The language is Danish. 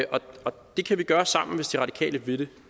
det kan vi gøre sammen hvis de radikale vil det